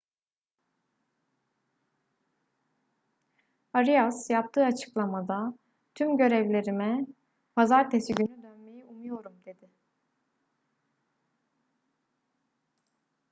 arias yaptığı açıklamada tüm görevlerime pazartesi günü dönmeyi umuyorum dedi